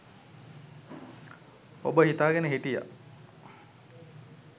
ඔබ හිතාගෙන හිටියා